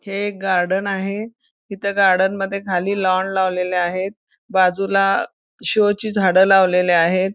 हे गार्डन आहे इथं गार्डन मध्ये खाली लॉन लावलेलं आहेत बाजूला शो ची झाडे लावलेली आहेत.